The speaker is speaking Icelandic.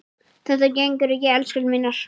Þetta gengur ekki, elskurnar mínar.